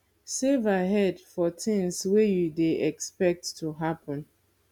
save ahead for things wey you dey expect to happen